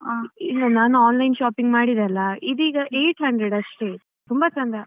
ನಾನು online shopping ಎಲ್ಲ ಮಾಡಿದೆ ಅಲ್ಲ ಇದೀಗ eight hundred ಅಷ್ಟೇ ತುಂಬಾ ಚಂದ